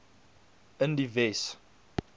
in die wes